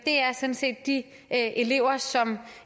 er sådan set de elever som